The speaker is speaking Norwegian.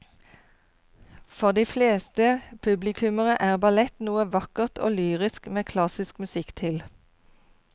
For de fleste publikummere er ballett noe vakkert og lyrisk med klassisk musikk til.